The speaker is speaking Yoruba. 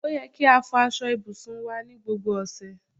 Ó yẹ kí a fò aṣọ ibùsùn wá ní gbogbo ọ̀sẹ̀